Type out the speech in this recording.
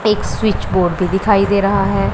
एक switch board भी दिखाई दे रहा है।